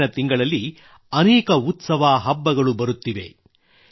ಮುಂದಿನ ತಿಂಗಳಲ್ಲಿ ಅನೇಕ ಉತ್ಸವ ಹಬ್ಬಗಳು ಬರುತ್ತಿವೆ